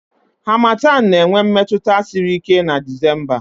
Harmattan na-enwe mmetụta siri ike na Disemba